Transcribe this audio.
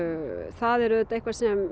það er auðvitað eitthvað sem